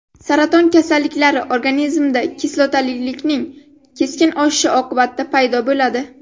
Saraton kasalliklari organizmda kislotalilikning keskin oshishi oqibatida paydo bo‘ladi.